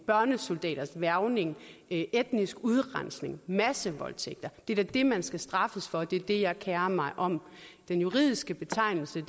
børnesoldaters hvervning etnisk udrensning massevoldtægter det er da det man skal straffes for det er det jeg kerer mig om den juridiske betegnelse